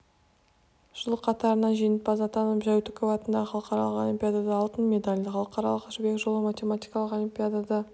жыл қатарынан жеңімпаз атанып жәутіков атындағы халықаралық олимпиадада алтын медаль халықаралық жібек жолы математикалық олимпиадада